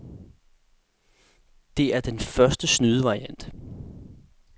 Det er den første snydevariant.